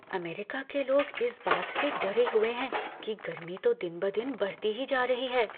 America के लोग इस बात से डरे हुए हैं कि गर्मी तो दिन ब दिन बढ़ती ही जा रही है।